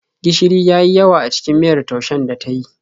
Gishiri ya yi yawa a cikin miyar taushen da ta yi.